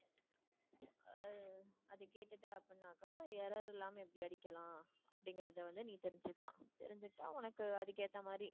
அதை கேட்டுட்டே அப்படின்னாக்க error இல்லாம எப்படி அடிக்கலாம், அப்படிங்கறதை வந்து நீ தெரிஞ்சிக்கலாம் தெரிஞ்சிட்டா உனக்கு அதுக்கு ஏத்தமாதிரி